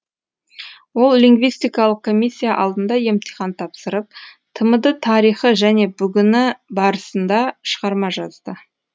ол лингвистикалық комиссия алдында емтихан тапсырып тмд тарихы және бүгіні барысында шығарма жазды